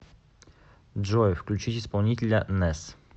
джой включить исполнителя нэс